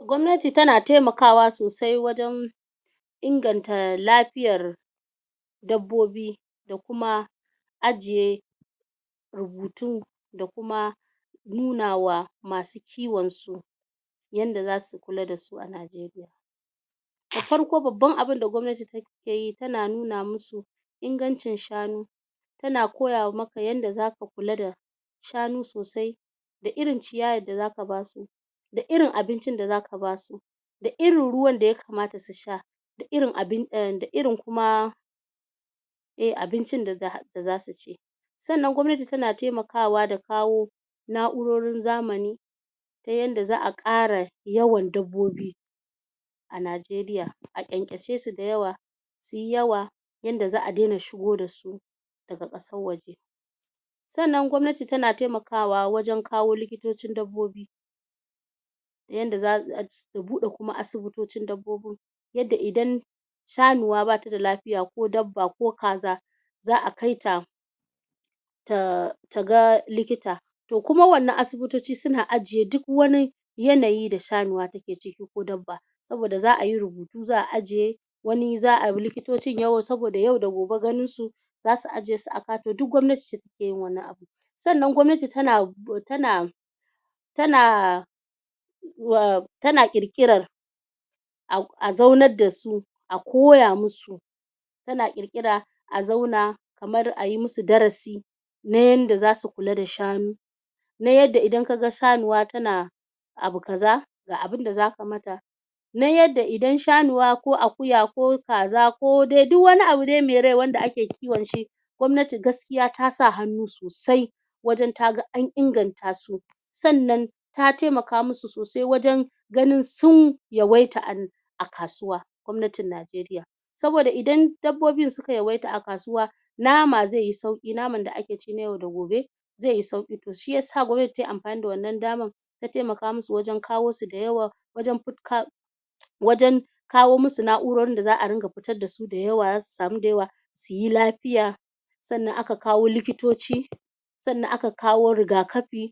gwamnati tana temakawa sosai wajen inganta lafiyar dabbobi da kuma ajiye rubutu da kuma nuna wa masu kiwon su yanda zasu kula da su a Najeriya da farko babban abinda gwamnati take yi tana nuna mu su ingancin shanu tana koya maka yanda zaka kula da shanu sosai da irin ciyawan da zaka basu da irin abincin da zaka basu da irin ruwan da ya kamata su sha da irin kuma eh abincin zasu ci sannan gwamnati tana temakawa da kawo na'urorin zamani ta yanda za'a ƙara yawan dabbobi a Najeriya a ƙyanƙyashe su da yawa suyi yawa yanda za'a dena shigo da su daga ƙasar waje sannan gwamnati tana temakawa wajen kawo likitocin dabbobi yanda za'a buɗe kuma asibitocin dabbobin yanda idan shanuwa bata da lafiya ko dabba ko kaza za'a kai ta ta ga likita to kuma wannan asibitoci suna ajiye duk wani yanayi da shanuwa take ciki ko dabba saboda za'a yi rubutu za'a ajiye wani za'a likitocin saboda yau da gobe ganin su zasu aje su a duk gwamnati sannan gwamnati tana tana tana ƙirƙirar a zaunar da su a koya mu su tana ƙirƙira a zauna kamar ayi musu darasi na yanda zasu kula da shanu na yanda idan ka ga sanuwa tana abu kaza ga abunda zaka mata na yanda idan shanuwa ko akuya ko kaza ko dai duk wani abu dai me rai wanda ake kiwon shi gwamnati gaskiya ta sa hannu sosai wajen ta ga an inganta su sannan ta temaka mu su sosai wajen ganin sun yawaita a kasuwa gwamnatin Najeriya saboda idan dabbobin suka yawaita a kasuwa nama ze yi sauƙi naman da ake ci na yau da gobe ze yi sauƙi to shiyasa gwamnati tayi amfani da wannan daman ta temaka mu su wajen kawo su da yawa wajen kawo mu su na'urorin da za'a ringa fitar da su da yawa zasu samu da yawa suyi lafiya sannan aka kawo likitoci sannan aka kawo rigakafi